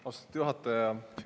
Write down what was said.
Austatud juhataja!